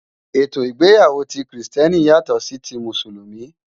Étó igbéyàwó ti Kristièní yátò si ti Músúlùmí